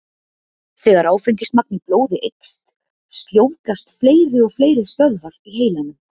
Þegar áfengismagn í blóði eykst, sljóvgast fleiri og fleiri stöðvar í heilanum.